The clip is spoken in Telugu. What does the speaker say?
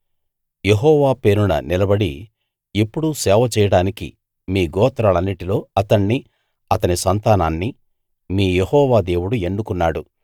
యెహోవా పేరున నిలబడి ఎప్పుడూ సేవ చేయడానికి మీ గోత్రాలన్నిటిలో అతణ్ణి అతని సంతానాన్నీ మీ యెహోవా దేవుడు ఎన్నుకున్నాడు